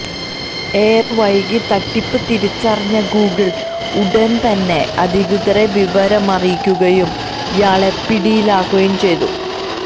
ഏറെ വൈകി തട്ടിപ്പ് തിരിച്ചറിഞ്ഞ ഗൂഗിൾ ഉടന് തന്നെ അധികൃതരെ വിവരമറിയിക്കുകയും ഇയാള് പിടിയിലാവുകയും ചെയ്തു